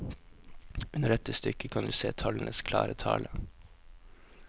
Under dette stykket kan du se tallenes klare tale.